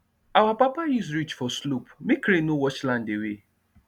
our papa use ridge for slope make rain no wash land away